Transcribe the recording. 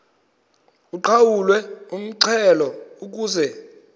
uqhawulwe umxhelo ukuze